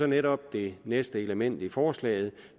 netop det næste element i forslaget